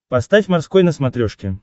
поставь морской на смотрешке